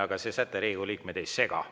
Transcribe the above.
Aga see säte Riigikogu liikmeid ei sega.